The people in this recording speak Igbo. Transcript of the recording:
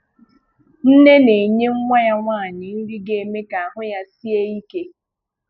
Nnè na-enye nwa ya nwanyị nri ga-eme ka ahụ́ ya sie ike.